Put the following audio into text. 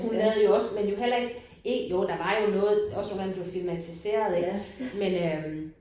Han lavede jo også men jo heller ikke ikke jo der var jo noget også nogle af dem der blev filmatiseret ik men øh